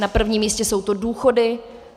Na prvním místě jsou to důchody.